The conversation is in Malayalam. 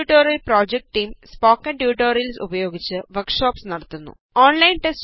spoken tutorial project team spoken tutorials ഉപയോഗിച്ച് വര്ക്ക് ഷോപ്സ് നടത്തുന്നു